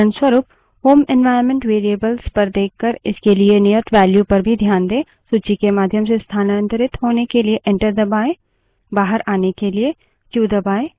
उदाहरणस्वरूप home environment variable पर देखकर इसके लिए नियत value पर भी ध्यान दें